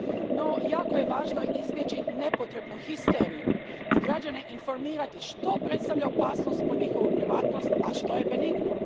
No jako je važno izbjeći nepotrebnu histeriju i građane informirati što predstavlja opasnost po njihovu privatnost, a što je benigno.